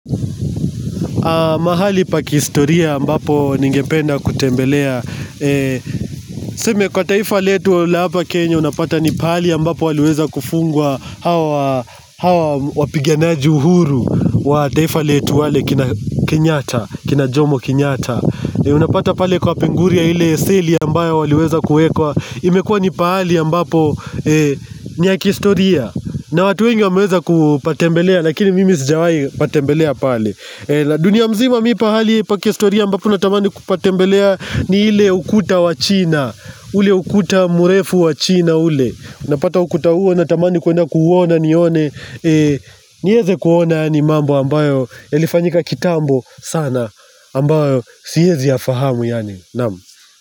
Mahali pa kihistoria ambapo ningependa kutembelea. TSeme kwa taifa letu la hapa Kenya unapata ni pahali ambapo waliweza kufungwa hawa hawa wa wapiganaji uhuru wa taifa letu wale kina kinyata, kina jomo kinyata. Unapata pale kwapinguria ile seli ambayo waliweza kuekwa. Imekua ni pahali ambapo ni ya kihistoria. Na watu wengi wameweza kuupatembelea lakini mimi sijawai patembelea pale. Dunia mzima mipahali pa kihistoria ambapo na tamani kupatembelea ni ile ukuta wa china ule ukuta murefu wachina ule uNapata ukuta huo natamani kwenda kuuona nione nieze kuona yani mambo ambayo yalifanyika kitambo sana ambayo siezi yafahamu yani nam.